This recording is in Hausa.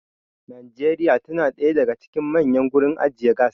Nigeria tana da ɗaya daga cikin manyan gurin ajiye gas